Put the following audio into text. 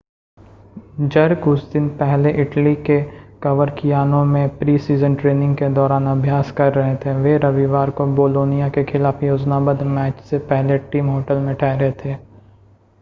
jerk उस दिन पहले इटली के कवरकियानो में प्री-सीज़न ट्रेनिंग के दौरान अभ्यास कर रहे थे वे रविवार को बोलोनिया के खिलाफ़ योजनाबद्ध मैच से पहले टीम होटल में ठहरे थे